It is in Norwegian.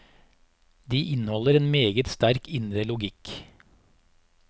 De inneholder en meget sterk indre logikk.